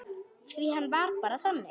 Því hann var bara þannig.